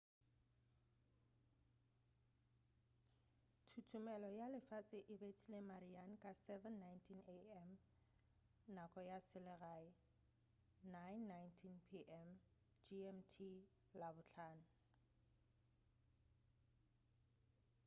thuthumelo ya lefase e bethile marian ka 07:19 a.m. nako ya selegae 09:19 p.m gmt labohlano